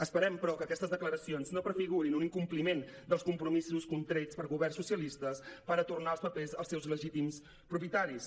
esperem però que aquestes declaracions no prefigurin un incompliment dels compromisos contrets per governs socialistes per a tornar els papers als seus legítims propietaris